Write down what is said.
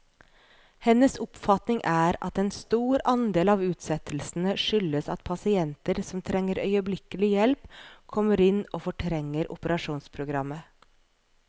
Hennes oppfatning er at en stor andel av utsettelsene skyldes at pasienter som trenger øyeblikkelig hjelp, kommer inn og fortrenger operasjonsprogrammet.